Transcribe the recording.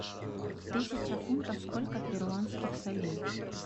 тысяча фунтов сколько перуанских солей